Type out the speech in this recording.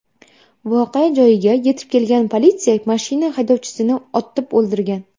Voqea joyiga yetib kelgan politsiya mashina haydovchisini otib o‘ldirgan.